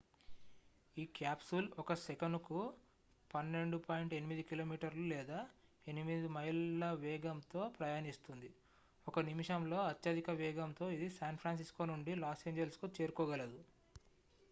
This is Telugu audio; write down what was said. ఈ క్యాప్సూల్ ఒక సెకనుకు 12.8 km లేదా 8 miles వేగంతో ప్రయాణిస్తుంది 1 నిమిషంలో అత్యధిక వేగంతో ఇది san francisco నుండి los angelesకు చేరుకోగలదు